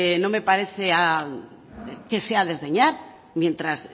no me parece que sea a desdeñar mientras